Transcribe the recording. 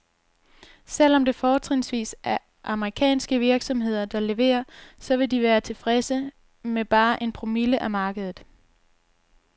Selv om det fortrinsvis er amerikanske virksomheder, der leverer, så vil de være tilfredse med bare en promille af markedet.